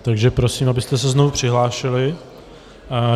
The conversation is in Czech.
Takže prosím, abyste se znovu přihlásili.